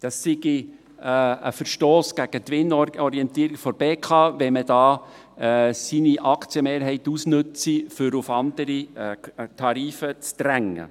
Es sei ein Verstoss gegen die Gewinnorientierung der BKW, wenn man hier seine Aktienmehrheit ausnütze, um auf andere Tarife zu drängen.